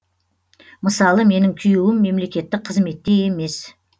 мысалы менің күйеуім мемлекеттік қызметте емес